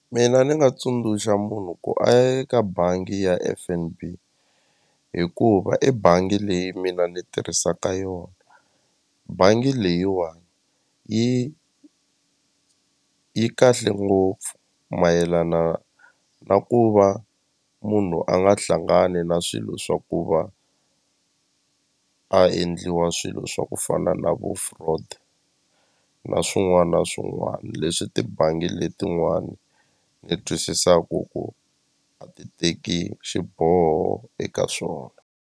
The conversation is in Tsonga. Mina ni nga tsundzuxa munhu ku a ya eka bangi ya F_N_B hikuva i bangi leyi mina ni tirhisaka yona bangi leyiwani yi yi kahle ngopfu mayelana na ku va munhu a nga hlangani na swilo swa ku va a endliwa swilo swa ku fana na vu fraud na swin'wana na swin'wana leswi tibangi letin'wana ni twisisaku ku a ti teki xiboho eka swona.